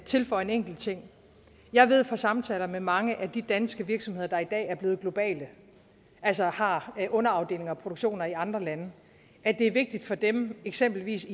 tilføje en enkelt ting jeg ved fra samtaler med mange af de danske virksomheder der i dag er blevet globale altså har underafdelinger og produktioner i andre lande at det er vigtigt for dem eksempelvis